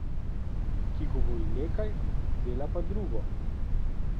Ki govori nekaj, dela pa drugo.